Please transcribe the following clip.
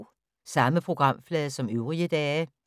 Samme programflade som øvrige dage